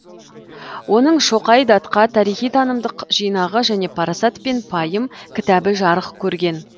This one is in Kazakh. оның шоқай датқа тарихи танымдық жинағы және парасат пен пайым кітабы жарық көрген